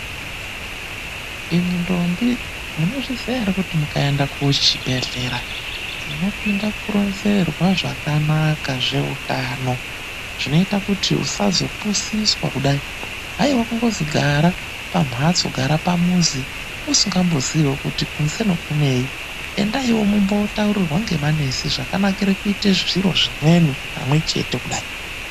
Imwi ndombi, munozviziya ere kuti mukaende kuchibhehlera munopinda kuronzerwa zvakanaka zveutano, zvinoite kuti usazopusiswa kudai. Haiwa kungozi gara pamhatso, gara pamuzi usikamboziiwo kuti kunzeno kunei, endaiwo mumbotaurirwa ngemanesi zvakanakira kuita zviro zvimweni pamwechete kudai.